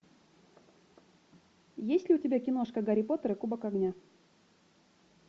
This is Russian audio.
есть ли у тебя киношка гарри поттер и кубок огня